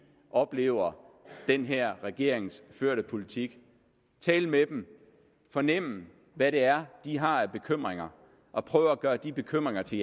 oplever den her regerings førte politik tale med dem fornemme hvad det er de har af bekymringer og prøve at gøre de bekymringer til